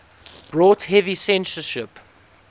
brought heavy censorship